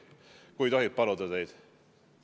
Kas tohib teid paluda?